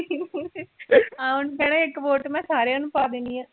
ਹਾਂ ਉਹਨੂੰ ਕਹਿਣਾ ਸੀ ਇੱਕ vote ਮੈਂ ਸਾਰਿਆਂ ਨੂੰ ਪਾ ਦੇਣੀ ਹੈ